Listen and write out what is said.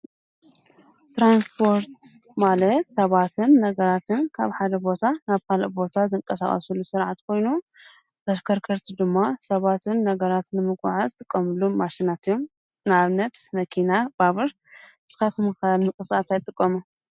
ትራንስፖርት ማለት ሰባትን ነገራትን ካብ ሓደ ቦታ ናብ ካልእ ቦታ ዝንቀሳቀስሉ ስርዓት ኮይኑ ተሽከርከረቲ ድማ ሰባትን ነገራትን ንምጉዕዓዝ ዝጥቀምሎም ማሽናት እዮም ።ንአብነት መኪና ባቡር ንስኹም ከ ንምንቅስቃስ ታይ ትጥቀሙ ?